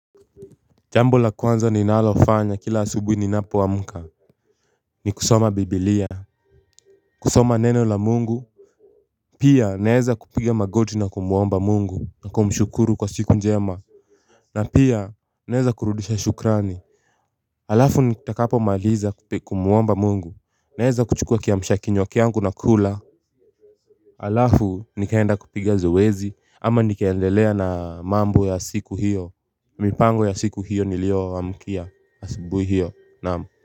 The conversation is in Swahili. Jambo la kwanza ninalofanya kila asubui ninapo amuka. Ni kusoma biblia. Kusoma neno la mungu. Pia naeza kupiga magoti na kumwomba mungu na kumshukuru kwa siku njema. Na pia naeza kurudisha shukrani. Alafu nitakapo maliza kumwomba mungu naeza kuchukua kiamshakinywa kiangu nakula. Alafu nikaenda kupiga zoezi ama nikaendelea na mambo ya siku hiyo. Mipango ya siku hiyo nilioamkia asubui hiyo naam.